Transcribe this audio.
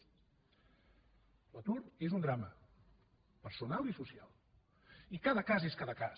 l’atur és un drama personal i social i cada cas és cada cas